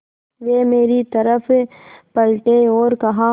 वे मेरी तरफ़ पलटे और कहा